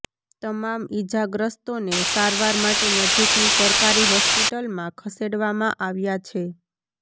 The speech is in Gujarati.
તમામ ઈજાગ્રસ્તોને સારવાર માટે નજીકની સરકારી હોસ્પિટલમાં ખસેડવામાં આવ્યાં છે